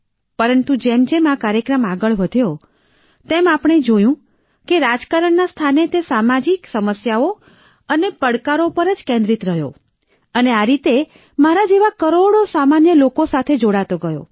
પરંતુ જેમજેમ આ કાર્યક્રમ આગળ વધ્યો તેમ આપણે જોયું કે રાજકારણના સ્થાને તે સામાજિક સમસ્યાઓ અને પડકારો પર જ કેન્દ્રિત રહ્યો અને આ રીતે મારા જેવા કરોડો સામાન્ય લોકો સાથે જોડાતો ગયો